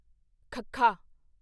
ਖੱਖਾ